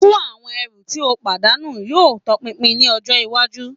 Fun awọn ẹru ti o padanu yoo tọpinpin ni ọjọ iwaju